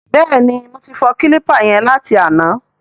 Bẹ́ẹ̀ni, mo ti fọ kílípà yẹn láti àná.